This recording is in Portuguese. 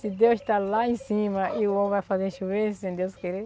Se Deus está lá em cima e o homem vai fazer chover, sem Deus querer.